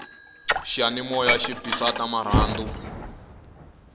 xiyanimoya xi bisa ta marhandu